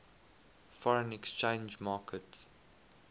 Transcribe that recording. foreign exchange market